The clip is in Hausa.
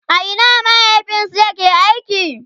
a Ina mahaifinsu ya ke aiki?